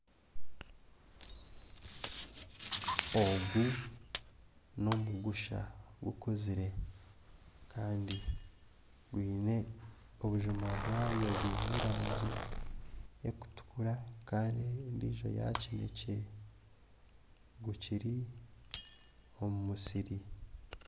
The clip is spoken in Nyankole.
Ogu n'omugusha gukuzire kandi gwiine obujuma bwayo bwine erangi ekutukura kandi endijo ya kinekye gukiri omu musiri.